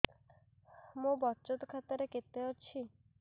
ମୋ ବଚତ ଖାତା ରେ କେତେ ଅଛି